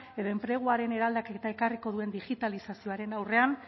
edo enpleguaren eraldaketa ekarriko duen digitalizazioaren aurrean